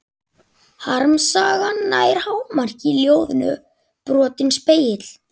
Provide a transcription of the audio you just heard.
Harmsagan nær hámarki í ljóðinu Brotinn spegill.